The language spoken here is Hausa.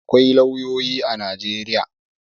Akwai lauyoyi a Najeriya.